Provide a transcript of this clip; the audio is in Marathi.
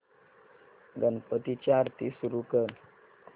गणपती ची आरती सुरू कर